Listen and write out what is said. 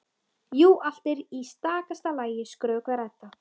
Jú, allt er í stakasta lagi, skrökvar Edda.